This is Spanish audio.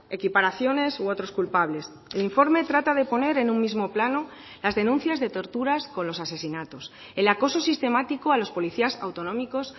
equiparaciones u otros culpables el informe trata de poner en un mismo plano las denuncias de torturas con los asesinatos el acoso sistemático a los policías autonómicos